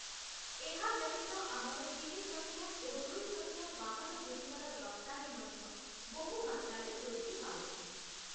ଏହା ବ୍ୟତୀତ ଆମର ତିନିଚକିଆ ଓ ଦୁଇଚକିଆ ବାହାନଗୁଡ଼ିକର ରପ୍ତାନୀ ମଧ୍ୟ ବହୁ ମାତ୍ରାରେ ବୃଦ୍ଧି ପାଉଛି ।